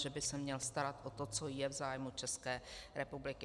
Že by se měl starat o to, co je v zájmu České republiky.